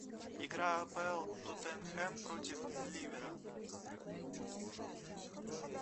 игра апл тоттенхэм против ливера